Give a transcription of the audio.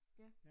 Ja